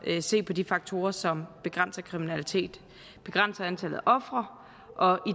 at se på de faktorer som begrænser kriminalitet og begrænser antallet af ofre og